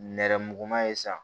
Nɛrɛmuguman ye sa